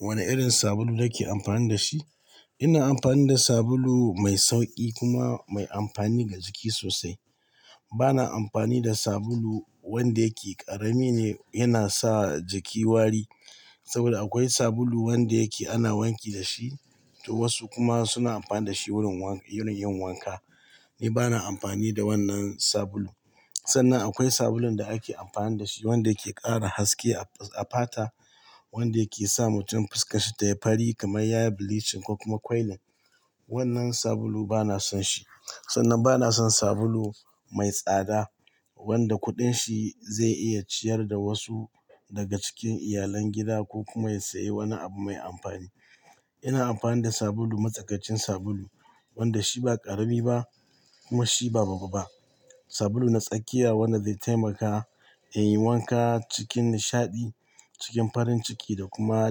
Wane irin sabulu yake amfani da shi? Ina amfani da sabulu mai sauƙi kuma mai amfani ga jiki sosai. Bana amfani da sabulu wanda yake ƙarami ne, yana sa jiki wari. Saboda akwai sabulu wanda yake ana wanki da shi, to wasu kuma suna amfani da shi wurin yin wanka. Ni bana amfani da wannan sabulu. Sannan akwai sabulun da ake amfani da shi wanda yake ƙara haske a fata, wanda yake sa mutum fuskarshi tayi fari kamar yayi bleaching ko kuma kwailin. Wannan sabulu bana son shi. Sannan bana son sabulu mai tsada wanda kuɗin shi zai iya ciyar da wasu daga cikin iyalan gida ko kuma saye wani abu mai amfani. Ina amfani da sabulu matsakacin sabulu wanda shi ba ƙarami ba kuma shi ba babu ba. Sabulu na tsakiya wanda zai taimaka in yi wanka cikin nishaɗi, cikin farin ciki da kuma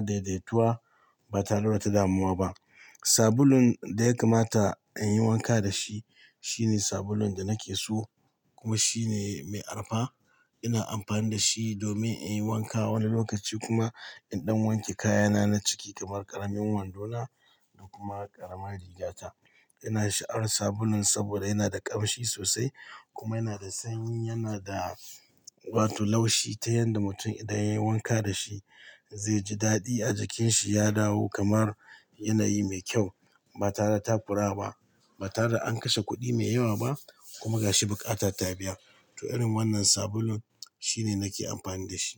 daidaituwa ba tare da wata damuwa ba. Sabulun da ya kamata in yi wanka da shi, shine sabulun da nake so kuma shine mai arfa. Ina amfani da shi domin in yi wanka wani lokaci kuma indan wanke kayana na ciki kamar ƙaramin wandona da kuma ƙaramar riga ta. Ina sha'awar sabulun saboda yana da ƙamshi sosai kuma yana da sanyi. Yana da wato laushi ta yanda mutum idan yayi wanka da shi zai ji daɗi a jikin shi ya dawo kamar yanayi mai kyau ba tare da takurawa ba. Ba tare da an kashe kuɗi mai yawa ba kuma ga shi buƙata ta biya. To irin wannan sabulun shine nake amfani da shi.